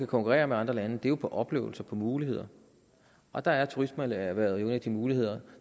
konkurrere med andre lande er jo på oplevelser på muligheder og der er turismeerhvervet en af de muligheder